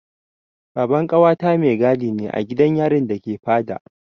Baban ƙawata mai gadi ne a gidan yarin da ke Fada.